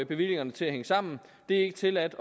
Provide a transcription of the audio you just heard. bevillingerne til at hænge sammen det er ikke tilladt